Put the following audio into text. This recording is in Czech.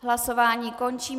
Hlasování končím.